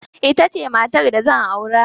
Ita ce matar da zan aura.